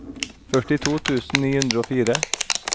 førtito tusen ni hundre og fire